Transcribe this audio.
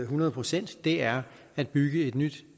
hundrede procent er at bygge et nyt